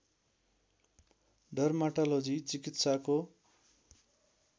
dermatology चिकित्साको